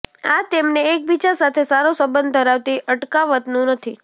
આ તેમને એકબીજા સાથે સારો સંબંધ ધરાવતી અટકાવતું નથી